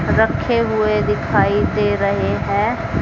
रखे हुए दिखाई दे रहे है।